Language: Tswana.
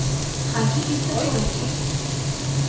ga ke itse gore ke